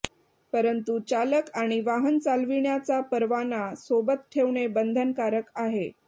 परंतू चालक यांनी वाहन चालविण्याचा परवाना सोबत ठेवणे बंधनकारक आहे